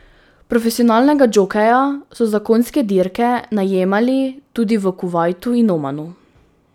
Profesionalnega džokeja so za konjske dirke najemali tudi v Kuvajtu in Omanu.